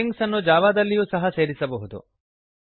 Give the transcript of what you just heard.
ಸ್ಟ್ರಿಂಗ್ಸನ್ನು ಜಾವಾದಲ್ಲಿಯೂ ಸಹ ಸೇರಿಸಬಹುದು